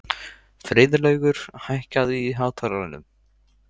Friðlaugur, hækkaðu í hátalaranum.